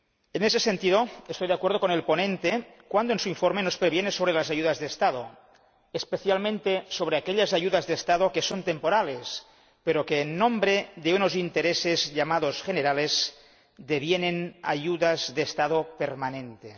En ese sentido, estoy de acuerdo con el ponente cuando en su informe nos previene sobre las ayudas estatales, especialmente sobre aquellas que son temporales, pero que, en nombre de unos intereses llamados generales, devienen ayudas estatales permanentes.